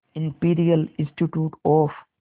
imperial institute of